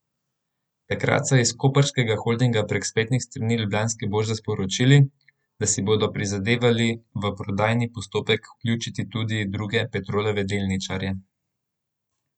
Takrat so iz koprskega holdinga prek spletnih strani Ljubljanske borze sporočili, da si bodo prizadevali v prodajni postopek vključiti tudi druge Petrolove delničarje.